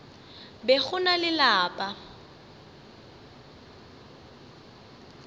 be go na le lapa